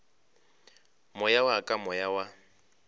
moya wa ka moya wa